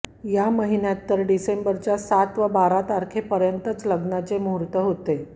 या महिन्यात तर डिसेंबरच्या सात व बारा तारखेपर्यंतच लग्नाचे मुहूर्त होते